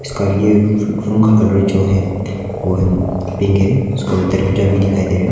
उसका ये रु रूम का कलर जो है वह है पिंक है उसका दरवाजा भी दिखाई दे रहा है।